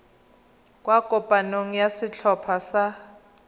kwa kopanong ya setlhopha sa